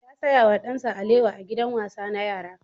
Ya saya wa ɗansa alewa a gidan wasa na yara.